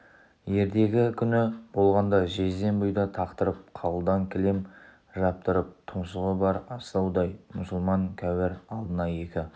ертегі күні болғанда жезден бұйда тақтырып қалыдан кілем жаптырып тұмсығы бар астаудай мұсылман кәуір алдына екі